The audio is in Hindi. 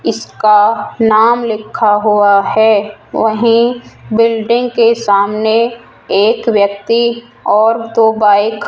इसका नाम लिखा हुआ है वही बिल्डिंग के सामने एक व्यक्ति और दो बाइक --